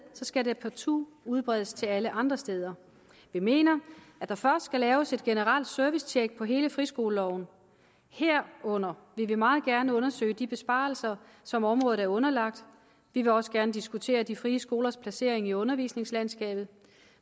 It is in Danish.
skal det partout udbredes til alle andre steder vi mener at der først skal laves et generelt servicetjek på hele friskoleloven herunder vil vi meget gerne undersøge de besparelser som området er underlagt vi vil også gerne diskutere de frie skolers placering i undervisningslandskabet